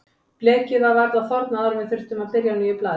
Blekið var varla þornað áður en við þurftum að byrja á nýju blaði.